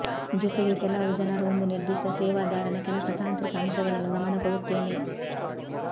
ಜೊತೆಗೆ ಕೆಲವು ಜನರು ಒಂದು ನಿರ್ದಿಷ್ಟ ಸೇವಾದಾರನ ಕೆಲಸ ತಾಂತ್ರಿಕ ಅಂಶಗಳನ್ನು ಗಮನ ಕೊಡುತ್ತೇನೆ